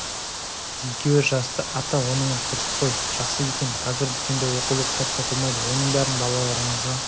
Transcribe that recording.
екеуі жасты ата оныңыз дұрыс қой жақсы екен қазір дүкенде оқулық кітап сатылмайды оның бәрін балаларыңызға